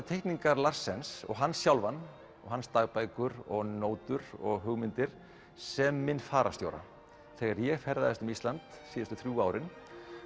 teikningar Larsens og hann sjálfan hans dagbækur og nótur og hugmyndir sem minn fararstjóra þegar ég ferðaðist um ísland síðustu þrjú árin